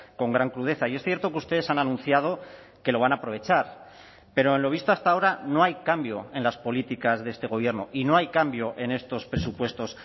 con gran crudeza y es cierto que ustedes han anunciado que lo van a aprovechar pero en lo visto hasta ahora no hay cambio en las políticas de este gobierno y no hay cambio en estos presupuestos